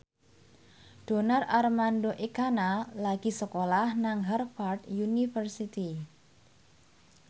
Donar Armando Ekana lagi sekolah nang Harvard university